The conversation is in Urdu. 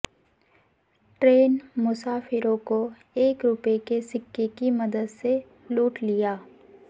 ٹرین مسافروں کو ایک روپے کے سکے کی مدد سے لوٹ لیا